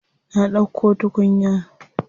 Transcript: Na ɗauko tukunya.